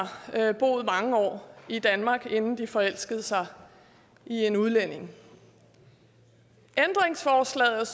boet mange år i danmark inden de forelskede sig i en udlænding ændringsforslaget